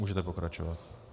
Můžete pokračovat.